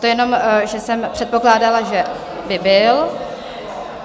To jenom že jsem předpokládala, že by byl.